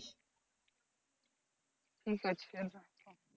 ঠিক আছে রাখো।